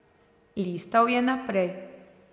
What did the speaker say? Listal je naprej.